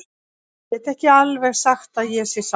Ég get ekki alveg sagt að ég sé sáttur.